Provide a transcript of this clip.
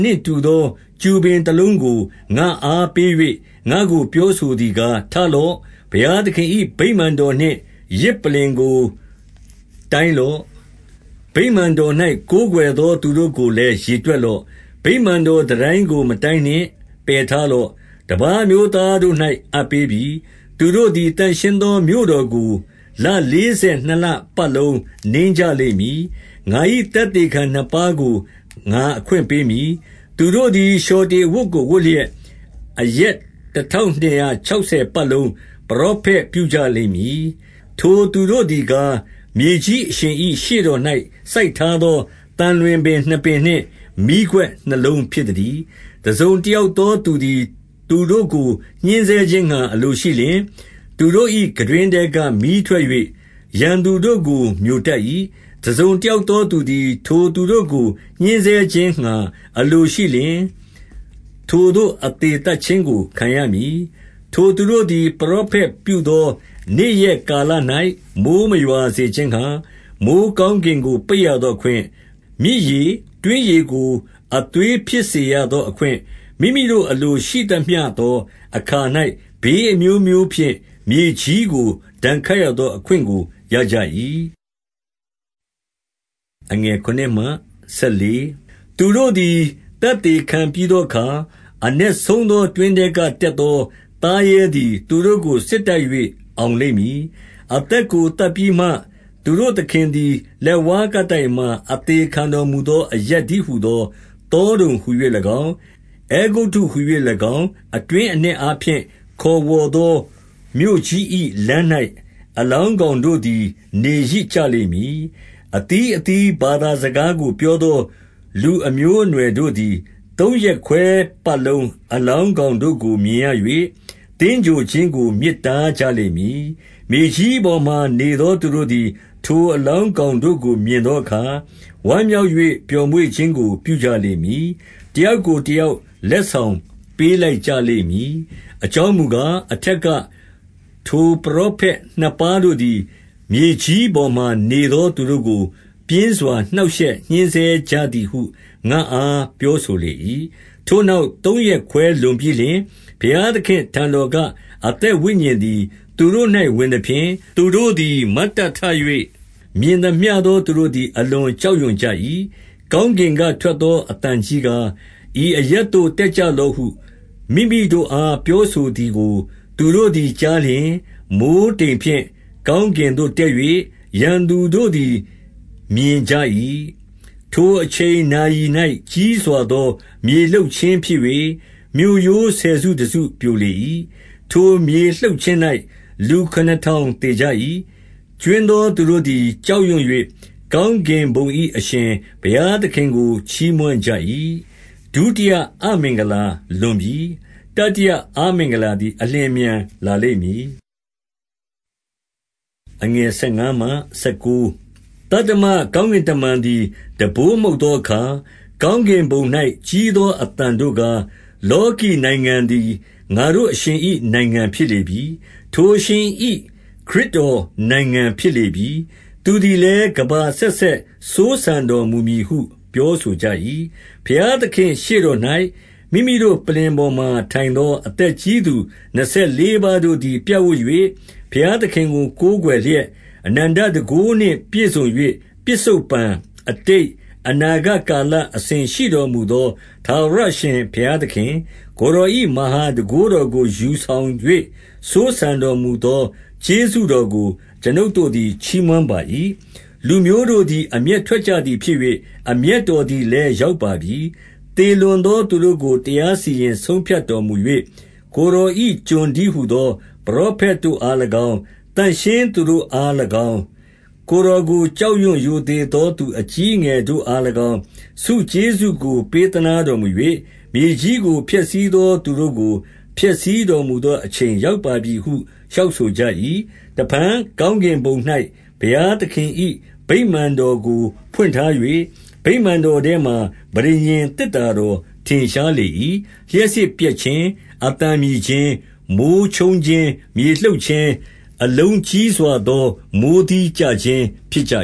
နှင့်တူသော ကျူပင်တလုံးကို ငါ့အား ပေး၍ ငါ့ကို ပြောဆိုသည်ကား၊ ထလော့။ ဘုရားသခင်၏ ဗိမာန်တော်နှင့်ယဇ်ပလ္လင်ကို တိုင်းလော့။ ဗိမာန်တော် ၌ ကိုးကွယ်သော သူတို့ကိုလည်း ရေတွက်လော့။ 2 ဗိမာန်တော်တန်တိုင်းကို မတိုင်းနှင့်၊ ပယ်ထားလော့။ တပါးအမျိုးသားတို့၌ အပ်ပေးပြီ။ သူတို့သည် သန့်ရှင်းသော မြို့တော်ကို ၊ လ လေးဆယ်နှစ်လပတ်လုံး နင်းကြလိမ့်မည်။ 3 ငါ၏သက်သေခံနှစ်ပါးကို ငါအခွင့်ပေးမည်။ သူတို့သည် လျှော်တေအဝတ်ကိုဝတ်လျက် ၊ အရက် တထောင်နှစ်ရာခြောက်ဆယ် ပတ်လုံး ပရောဖက်ပြုကြလိမ့်မည်။ 4 ထိုသူတို့သည်ကား၊ မြေကြီးအရှင်၏ ရှေ့တော် ၌ စိုက်ထားသော သံလွင်ပင်နှစ်ပင်နှင့် မီးခွက်နှစ်လုံး ဖြစ်သတည်း။ 5 တစုံတယောက်သော သူသည် သူတို့ကို ညှင်းဆဲခြင်းငှါ အလိုရှိလျှင်၊ သူတို့၏ ခံတွင်းထဲကမီးထွက်၍ ရန်သူတို့ကို မျိုတတ်၏။ တစုံတယောက်သော သူသည် ထိုသူတို့ကို ညှဉ်းဆဲခြင်းငှါ အလိုရှိလျှင် ၊ ထိုသို့အသေ သတ်ခြင်းကို ခံရမည်။ 6 ထိုသူတို့သည် ပရောဖက်ပြုသော နေ့ရက်ကာလ၌ မိုဃ်းမရွာစေခြင်းငှါ၊ မိုဃ်းကောင်းကင်ကို ပိတ်ရသောအခွင့်၊ မြစ်ရေ၊ တွင်းရေကို အသွေးဖြစ်စေ ရသောအခွင့်၊ မိမိတို့အလိုရှိသမျှသောအခါ၌ ဘေးအမျိုး မျိုးဖြင့် မြေကြီးကို ဒဏ်ခတ်ရသော အခွင့်ကို ရကြ၏။ 7 သူတို့သည် သက်သေခံပြီးသောအခါ၊ အနက်ဆုံးသောတွင်းထဲက တက်သော သားရဲသည် သူတို့ကို စစ်တိုက်၍ အောင်လိမ့်မည်။ အသက်ကိုသတ်ပြီးမှ၊ 8 သူတို့သခင်သည် လက်ဝါးကပ်တိုင်မှာ အသေခံတော်မူသော အရပ်တည်းဟူသော သောဒုံဟူ၍၎င်း၊ အဲဂုတ္တုဟူ၍၎င်း အတွင်းအနက်အားဖြင့် ခေါ်ဝေါ်သော မြို့ကြီး၏ လမ်း၌ အလောင်းကောင်တို့သည် နေရစ်ကြလိမ့်မည်။ 9 အသီးအသီး ဘာသာစကားကို ပြောသော လူအမျိုးအနွယ်တို့သည် သုံးရက်ခွဲပတ်လုံး အလောင်း ကောင်တို့ကို မြင်ရ၍၊ သင်္ဂြိုဟ်ခြင်းကို မြစ်တားကြလိမ့်မည်။ 10 မြေကြီးပေါ်မှာနေသော သူတို့သည် ထိုအလောင်းကောင်တို့ကို မြင်သောအခါ၊ ဝမ်းမြောက်၍ ပျော်မွေ့ခြင်းကို ပြုကြလိမ့်မည်။ တယောက်ကိုတယောက် လက်ဆောင်ပေးလိုက်ကြလိမ့်မည်။ အကြောင်းမူကား၊ အထက်က ထိုပရောဖက်နှစ်ပါးတို့သည် မြေကြီးပေါ်မှာ နေသောသူတို့ကို ပြင်းစွာ နှောင့်ရှက်ညှင်းဆဲကြသည်ဟု ငါ့အား ပြောဆိုလေ၏။ 11 ထိုနောက်သုံးရက်ခွဲလွန်ပြီးလျှင်၊ ဘုရားသခင့် အထံတော်က အသက်ဝိညာဉ်သည် သူတို့၌ဝင်သဖြင့် ၊ သူတို့သည် မတ်တက်ထ၍ မြင်သမျှသောသူတို့သည် အလွန်ကြောက်ရွံ့ကြ၏။ 12 ကောင်းကင်ကထွက်သောအသံကြီးကား၊ ဤအရပ်သို့တက်ကြလော့ဟု မိမိတို့အား ပြောဆိုသည်ကို သူတို့သည်ကြားလျှင်၊ မိုဃ်းတိမ်ဖြင့် ကောင်းကင်သို့ တက်၍ ရန်သူတို့သည် မြင်ကြ၏။ 13 ထိုအချိန်နာရီ၌ ကြီးစွာသော မြေလှုပ်ခြင်း ဖြစ်၍၊ မြို့ရိုးဆယ်စု တစုပြိုလေ၏။ ထိုမြေလှုပ်ခြင်း၌ လူခုနစ်ထောင်သေကြ၏။ ကြွင်းသော သူတို့သည် ကြောက်ရွံ့၍ ကောင်းကင်ဘုံ၏ အရှင်ဘုရားသခင်ကို ချီးမွမ်းကြ၏။ 14 ဒုတိယအမင်္ဂလာလွန်ပြီ။ တတိယအမင်္ဂလာသည် အလျင်အမြန် လာလိမ့်မည်။ 15 သတ္တမကောင်းကင်တမန်သည် တံပိုးမှုတ်သောအခါ၊ ကောင်းကင်ဘုံ၌ကြီးသော အသံတို့ကား၊ လောကီနိုင်ငံသည် ငါတို့အရှင်၏ နိုင်ငံဖြစ်လေပြီ။ ထိုအရှင်၏ ခရစ်တော်နိုင်ငံဖြစ်လေပြီ။ သူသည်လည်း ကမ္ဘာအဆက်ဆက် စိုးစံတော်မူမည်ဟု ပြောဆိုကြ၏။ 16 ဘုရားသခင်ရှေ့တော်၌ မိမိတို့ပလ္လင်ပေါ်မှာထိုင်သော အသက်ကြီးသူ နှစ်ဆယ်လေးပါးတို့သည် ပြပ်ဝပ်၍ ဘုရားသခင်ကို ကိုးကွယ်လျက် ၊ 17 အနန္တတန်ခိုးနှင့်ပြည့်စုံ၍၊ ပစ္စုပ္ပန်၊ အတိတ်၊ အနာဂတ်ကာလအစဉ်ရှိတော်မူသော ထာဝရအရှင် ဘုရားသခင်၊ ကိုယ်တော်၏ မဟာတန်ခိုးတော်ကို ယူဆောင်၍ စိုးစံတော်မူသော ကျေးဇူးတော်ကို အကျွန်ုပ် တို့သည် ချီးမွမ်းပါ၏။ 18 လူမျိုးတို့သည် အမျက်ထွက်ကြသည်ဖြစ်၍၊ အမျက်တော်သည်လည်းရောက်ပါပြီ။ သေလွန်သော သူတို့ကို တရားစီရင်ဆုံးဖြတ်တော်မူ၍၊ ကိုယ်တော်၏ ကျွန်တည်းဟူသော ပရောဖက်တို့အား ၎င်း၊ သန့်ရှင်းသူ တို့အား၎င်း၊ ကိုယ်တော်ကိုကြောက်ရွံ့ရိုသေသော သူအကြီးအငယ်တို့အား၎င်း၊ ဆုကျေးဇူးကို ပေးသနား တော်မူ၍ မြေကြီးကို ဖျက်ဆီးသော သူတို့ကို ဖျက်ဆီးတော်မူသော အချိန်ရောက်ပါပြီဟု လျှောက်ဆိုကြ၏။ 19 တဖန်ကောင်းကင်ဘုံ၌ ဘုရားသခင်၏ ဗိမာန်တော်ကို ဖွင့်ထား၍၊ ဗိမာန်တော်ထဲမှာ ပဋိညာဉ် သေတ္တာတော် ထင်ရှားလေ၏။ လျှပ်စစ်ပြက်ခြင်း၊ အသံမြည်ခြင်း၊ မိုဃ်းချုပ်ခြင်း၊ မြေလှုပ်ခြင်း၊ အလုံးကြီးစွာသော မိုဃ်းသီးကျခြင်းဖြစ်ကြ